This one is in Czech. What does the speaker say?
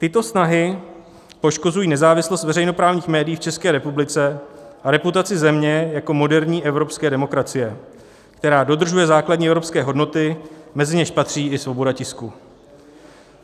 Tyto snahy poškozují nezávislost veřejnoprávních médií v České republice a reputaci země jako moderní evropské demokracie, která dodržuje základní evropské hodnoty, mezi něž patří i svoboda tisku.